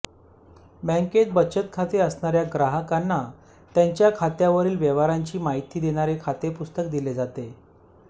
बँकेत बचत खाते असणाऱ्या ग्राहकांना त्यांच्या खात्यावरील व्यवहारांची माहिती देणारे खाते पुस्तक दिले जाते